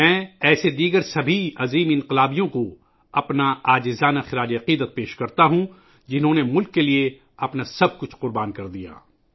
میں ، ایسے دیگر تمام عظیم انقلابیوں کو اپنا خراج عقیدت پیش کرتا ہوں ، جنہوں نے ملک کے لئے اپنا سب کچھ قربان کر دیا